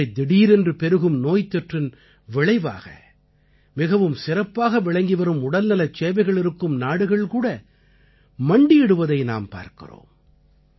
இப்படித் திடீரென்று பெருகும் நோய்த்தொற்றின் விளைவாக மிகவும் சிறப்பாக விளங்கிவரும் உடல்நலச் சேவைகள் இருக்கும் நாடுகள்கூட மண்டியிடுவதை நாம் பார்க்கிறோம்